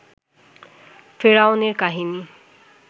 ফেরাউন এর কাহিনী